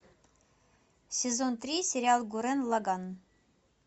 сезон три сериал гуррен лаганн